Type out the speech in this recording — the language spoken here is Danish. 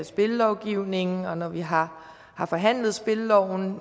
spillovgivningen og når vi har har forhandlet spilleloven